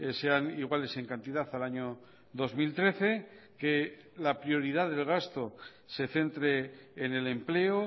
sean iguales en cantidad al año dos mil trece que la prioridad del gasto se centre en el empleo